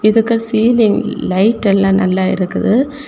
இதுக்கு ceiling light எல்லா நல்லா இருக்குது.